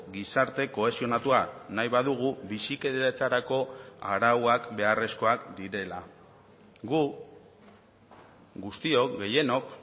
gizarte kohesionatua nahi badugu bizikidetzarako arauak beharrezkoak direla gu guztiok gehienok